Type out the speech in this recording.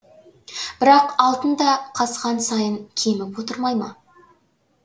бірақ алтын да қазған сайын кеміп отырмай ма